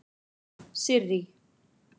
Sirrý